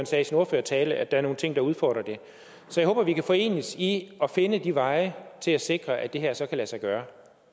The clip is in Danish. sagde i sin ordførertale at der er nogle ting der udfordrer det så jeg håber vi kan forenes i at finde veje til at sikre at det her så kan lade sig gøre